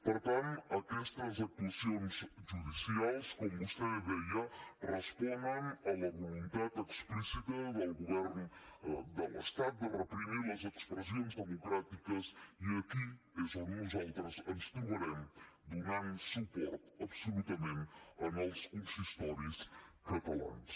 per tant aquestes actuacions judicials com vostè deia responen a la voluntat explícita del govern de l’estat de reprimir les expressions democràtiques i aquí és on nosaltres ens trobarem donant suport absolutament als consistoris catalans